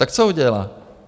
- Tak co udělá?